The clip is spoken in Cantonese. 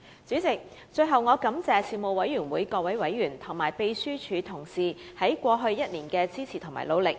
主席，最後，我感謝事務委員會各委員及秘書處職員在過去1年的支持和努力。